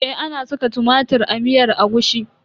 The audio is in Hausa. Eh ana saka tumatir a miyar agushi.